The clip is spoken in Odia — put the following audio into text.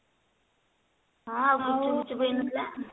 ହଁ ଆଉ ଗୁପ୍ଚୁପ ଫୁପ୍ଚୁପ ହେଇ ନଥିଲା